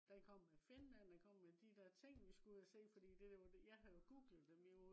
den kom med finland den kom med de der ting vi skulle ud og se fordi det var jo jeg havde jo googlet dem jo